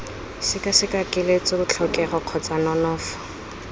sekaseka keletso tlhokego kgotsa nonofo